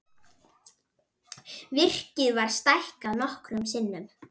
Virkið var stækkað nokkrum sinnum.